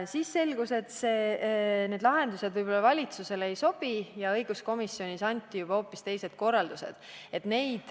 Siis aga selgus, et valitsusele need lahendused võib-olla ei sobi, ja õiguskomisjonis anti juba hoopis teised korraldused.